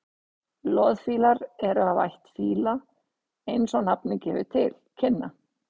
loðfílar eru af ætt fíla eins og nafnið gefur til kynna